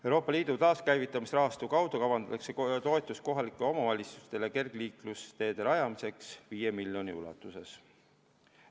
Euroopa Liidu taaskäivitamisrahastu kaudu kavandatakse toetust kohalikele omavalitsustele kergliiklusteede rajamiseks 5 miljoni euro ulatuses.